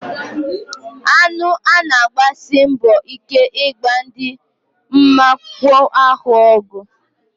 Aṅụ na-agbasi mbọ ike ịgba ndị mwakpo ahụ ọgụ.